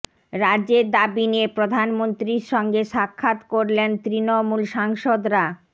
রাজ্যের দাবি নিয়ে প্রধানমন্ত্রীর সঙ্গে সাক্ষাৎ করলেন তৃণমূল সাংসদরা